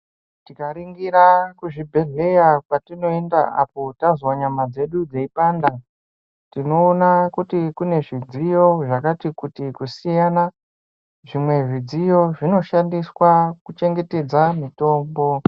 Tikaringira kuzvibhedhleya kwatinoenda apo tazwa nyama dzedu tinoona kuti kune zvidziyo zvakati kuti kusiyanana zvimwe zvidziyo zvinoshandiswa kuchengetedza mitombo.